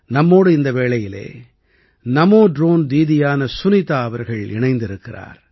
நம்மோடு இந்த வேளையிலே நமோ ட்ரோன் தீதியான சுனிதா அவர்கள் இணைந்திருக்கிறார்